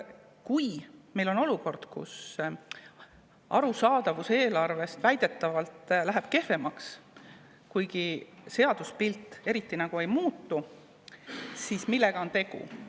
Kui meil on olukord, kus eelarve arusaadavus läheb väidetavalt kehvemaks, kuigi seaduspilt eriti nagu ei muutu, siis millega on tegu?